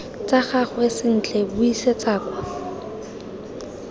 tsa gagwe sentle buisetsa kwa